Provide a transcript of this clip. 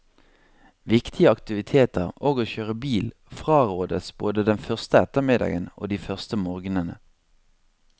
Viktige aktiviteter og å kjøre bil frarådes både den første ettermiddagen og de første morgenene.